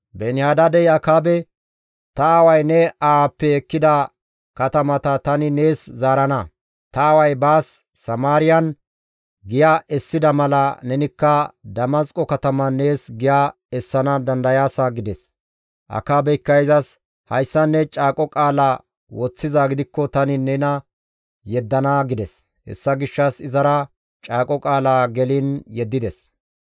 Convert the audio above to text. Beeni-Hadaadey Akaabe, «Ta aaway ne aawappe ekkida katamata tani nees zaarana. Ta aaway baas Samaariyan giya essida mala nenikka Damasqo kataman nees giya essana dandayaasa» gides. Akaabeykka izas, «Hayssan ne caaqo qaala woththizaa gidikko tani nena yeddana» gides. Hessa gishshas izara caaqo qaala geliin yeddides.